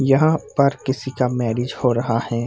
यहां पर किसी का मेरिज हो रहा है।